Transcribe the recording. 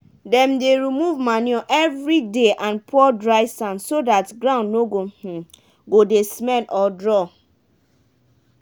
dem dey remove manure every day and pour dry sand so dat ground no um go dey smell or draw.